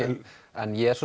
en ég er